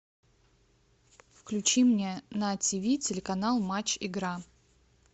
включи мне на тв телеканал матч игра